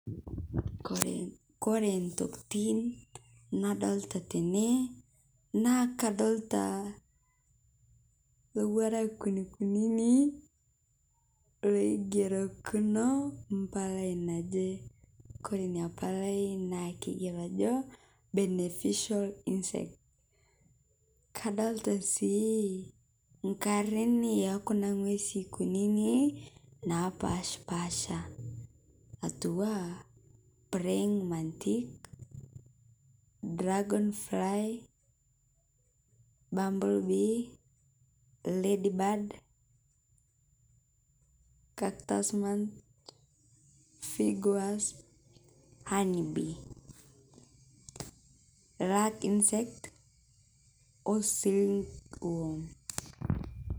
Kore ntokitin nadolta tene naa kadolta lowarak kunikunini loigerekuno mpalai najee kore inia palai naa keigeroa ajo beneficial insect kadolita sii nkarin ekuna ngwezi kuninii napashpasha atuwaa praying mantis, dragon fly, bumble bee, lady bird, cactus figue wasp honey bee lag insect oo silk worm